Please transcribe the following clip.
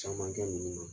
Caman kɛ nunnu na